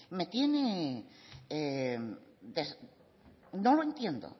me tiene no lo entiendo